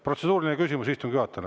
Protseduuriline küsimus istungi juhatajale.